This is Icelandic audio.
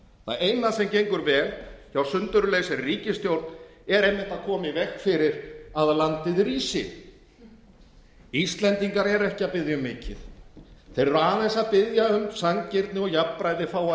það eina sem gengur vel hjá sundurlausri ríkisstjórn er einmitt að koma í veg fyrir að landið rísi íslendingar eru ekki að biðja um mikið þeir eru aðeins að biðja um að sanngirni og jafnræði fái að